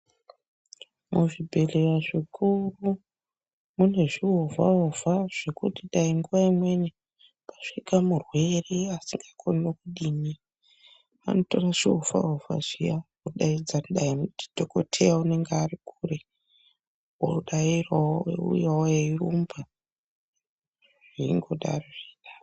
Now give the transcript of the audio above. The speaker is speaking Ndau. Muzvi bhedhlera zvekuno mune zvi ovha ovha kuti dai nguwa imweni pasvika murwere usingakoni nekudini vanotora zviovha ovha zviyani vodaidza dangani ndi dhokoteya unenge ari kure odairawo ouyawo eirumba veingodaro .